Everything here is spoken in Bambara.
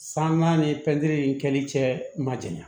Sangan ni in kɛli cɛ ma janya